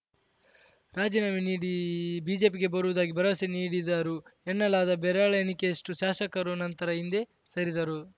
ರಾಜಿನಾಮೆ ನೀಡಿ ಬಿಜೆಪಿಗೆ ಬರುವುದಾಗಿ ಭರವಸೆ ನೀಡಿದ್ದರು ಎನ್ನಲಾದ ಬೆರಳೆಣಿಕೆಯಷ್ಟುಶಾಸಕರು ನಂತರ ಹಿಂದೆ ಸರಿದರು